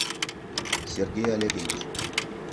сергей олегович